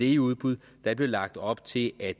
i udbud der blev lagt op til at